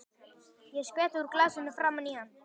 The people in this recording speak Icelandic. Ég skvetti úr glasinu framan í hann.